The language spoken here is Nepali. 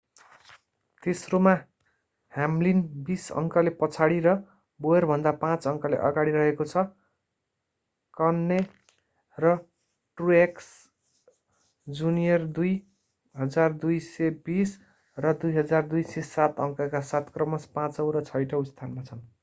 तेस्रोमा ह्याम्लिन बीस अङ्कले पछाडी र बोयरभन्दा पाँच अङ्कले अगाडि रहेको छ कह्ने र ट्रुएक्स जुनियर 2,220 र 2,207 अङ्कका साथ क्रमशः पाचौं र छैठौं स्थानमा छन्